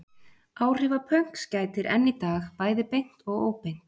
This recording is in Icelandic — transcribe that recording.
Áhrifa pönks gætir enn í dag, bæði beint og óbeint.